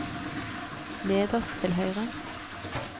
nederst til høyre